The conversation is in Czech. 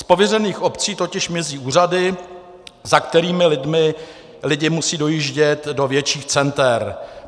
Z pověřených obcí totiž mizí úřady, za kterými lidé musí dojíždět do větších center.